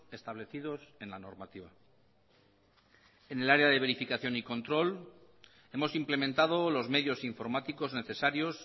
establecidos en la normativa en el área de verificación y control hemos implementado los medios informáticos necesarios